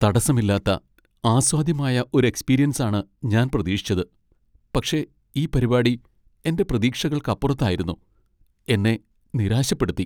തടസ്സമില്ലാത്ത, ആസ്വാദ്യമായ ഒരു എക്സ്പീരിയൻസാണ് ഞാൻ പ്രതീക്ഷിച്ചത്, പക്ഷേ ഈ പരിപാടി എന്റെ പ്രതീക്ഷകൾക്കപ്പുറത്തായിരുന്നു, എന്നെ നിരാശപ്പെടുത്തി.